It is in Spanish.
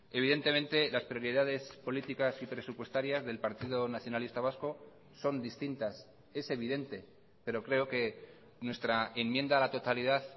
evidentemente las prioridades políticas y presupuestarias del partido nacionalista vasco son distintas es evidente pero creo que nuestra enmienda a la totalidad